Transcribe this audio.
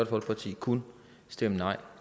folkeparti kun stemme nej